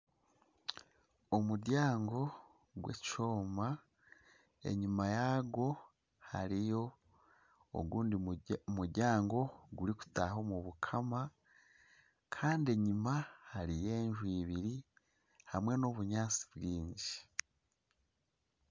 Omuryango gw'ekyoma enyima yagwo hariyo ogundi muryango gurikutaaha omu bukama. Kandi enyima hariyo enju ibiri hamwe n'obunyaatsi bwingi.